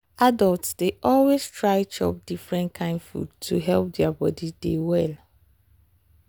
adults dey always try chop different kain food to help their body dey well.